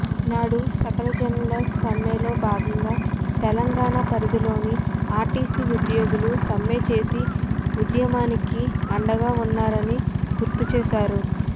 నాడు సకలజనుల సమ్మెలో భాగంగా తెలంగాణ పరిధిలోని ఆర్టీసీ ఉద్యోగులు సమ్మె చేసి ఉద్యమానికి అండగా ఉన్నారని గుర్తుచేశారు